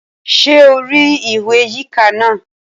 Ṣé o rí ìwé yíká náà?